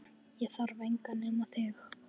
Ég þarf engan nema þig